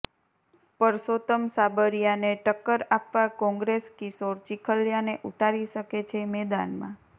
પરસોત્તમ સાબરીયાને ટક્કર આપવા કોંગ્રેસ કિશોર ચીખલીયાને ઉતારી શકે છે મેદાનમાં